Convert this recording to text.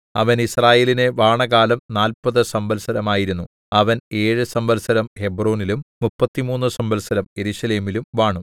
അവൻ യിസ്രായേലിനെ വാണകാലം നാല്പതു സംവത്സരം ആയിരുന്നു അവൻ ഏഴു സംവത്സരം ഹെബ്രോനിലും മുപ്പത്തിമൂന്നു സംവത്സരം യെരൂശലേമിലും വാണു